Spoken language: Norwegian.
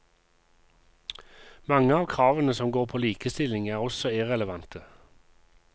Mange av kravene som går på likestilling er også irrelevante.